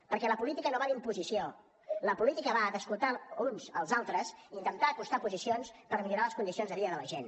perquè la política no va d’imposició la política va d’escoltar els uns als altres i intentar acostar posicions per millorar les condicions de vida de la gent